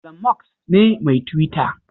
Ilon Musk ne mai Twita.